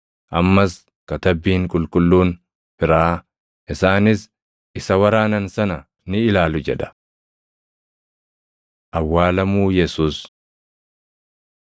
Ammas Katabbiin Qulqulluun biraa, “Isaanis isa waraanan sana ni ilaalu” + 19:37 \+xt Zak 12:10\+xt* jedha. Awwaalamuu Yesuus 19:38‑42 kwf – Mat 27:57‑61; Mar 15:42‑47; Luq 23:50‑56